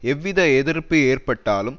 எவ்வித எதிர்ப்பு ஏற்பட்டாலும்